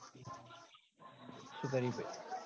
શું કરે બે?